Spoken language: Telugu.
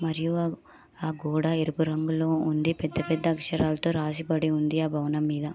మరియు ఆ గోడ ఎరుపు రంగులో ఉండి. పెద్ద పెద్ద అక్షరాలతో రాసిబడి ఉంది ఆ భవనం మీద.